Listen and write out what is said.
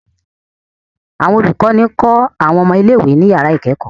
Awọn olukọni kọ awọn ọmọ ile-iwe ni yara ikẹkọ